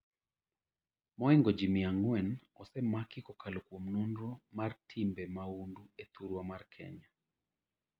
moingo jii mia ang'wen osemaki kokalo kuom nonro mar timbe maundu e thurwa mar Kenya